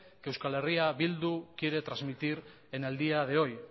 que eh bildu quiere trasmitir en el día de hoy